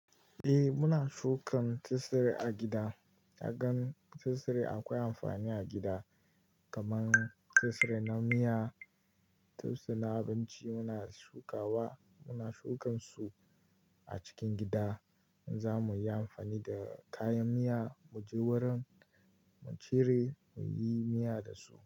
Eh muna shukan tsire a gida. Na gan tsire akwai amfani a gida, kaman tsire na miya, turse na abinci muna shukawa. Muna shukan su a cikin gida in za mu yi amfani da kayan miya, mu je wurin, mu cire, mu yi miya da su.